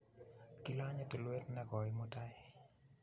Kilanye tulwet nekoi mutai